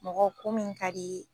Mɔgɔ ko min ka d'i ye